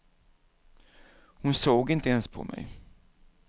Hon såg inte ens på mig.